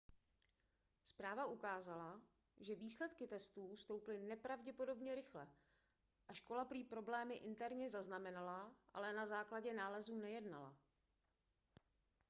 zpráva ukázala že výsledky testů stouply nepravděpodobně rychle a škola prý problémy interně zaznamenala ale na základě nálezů nejednala